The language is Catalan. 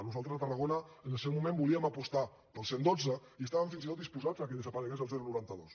nosaltres a tarragona en el seu moment volíem apostar pel cent i dotze i estàvem fins i tot disposats que desaparegués el noranta dos